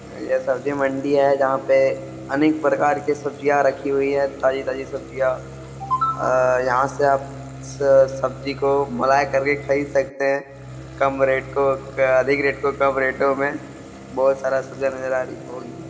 ये सब्जी मंडी है जहां पे अनेक प्रकार की सब्जियां रखी हुई है ताजी - ताजी सब्जियां अ यहां से आप स सब्जी को मोलाए कर के खरीद सकते है कम रेट को अधिक रेट को कम रेट ओ मे बहुत सारा सब्जियां नजर आ रही है हो गया।